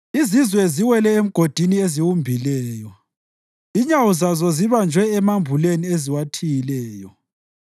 Izizwe ziwele emgodini eziwumbileyo; inyawo zazo zibanjwe emambuleni eziwathiyileyo.